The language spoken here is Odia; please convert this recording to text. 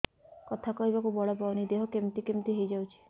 କଥା କହିବାକୁ ବଳ ପାଉନି ଦେହ କେମିତି କେମିତି ହେଇଯାଉଛି